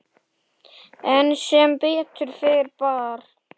En sem betur fer bar